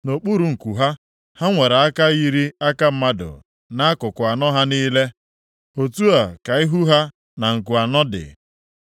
Nʼokpuru nku ha, ha nwere aka yiri aka mmadụ nʼakụkụ anọ ha niile. Otu a ka ihu ha na nku anọ dị.